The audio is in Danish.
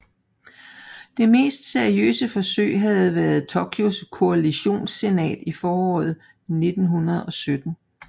Det mest seriøse forsøg havde været Tokois koalitionssenat i foråret 1917